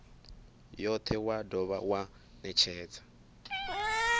yothe wa dovha wa netshedza